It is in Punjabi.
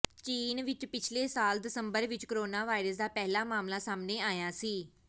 ਚੀਨ ਵਿਚ ਪਿਛਲੇ ਸਾਲ ਦਸੰਬਰ ਵਿਚ ਕੋਰੋਨਾ ਵਾਇਰਸ ਦਾ ਪਹਿਲਾ ਮਾਮਲਾ ਸਾਹਮਣੇ ਆਇਆ ਸੀ